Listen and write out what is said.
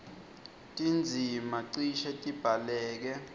tindzima cishe tibhaleke